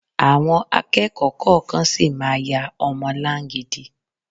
Àwọn akẹ́kọ̀ọ́ kọ̀ọ̀kan sì máa ya ọmọ láńgidi